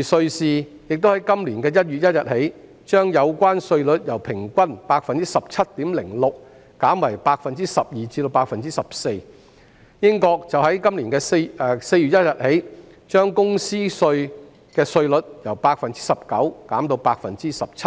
而瑞士亦自今年1月1日起，將有關稅率由平均 17.06%， 減為 12% 至 14%， 英國則自今年4月1日起，將公司稅的稅率由 19% 減至 17%。